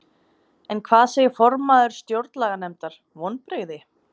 En hvað segir formaður Stjórnlaganefndar, vonbrigði?